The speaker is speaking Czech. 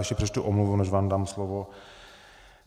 Ještě přečtu omluvu, než vám dám slovo.